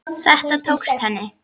Þetta tókst henni.